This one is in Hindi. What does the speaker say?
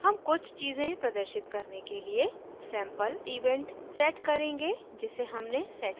हम कुछ चीजें प्रदर्शित करने के लिए सैम्पल event set करेंगे जिसे हमने set किया है